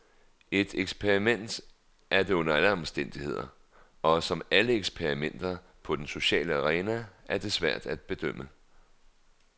Et eksperiment er det under alle omstændigheder, og som alle eksperimenter på den sociale arena er det svært at bedømme.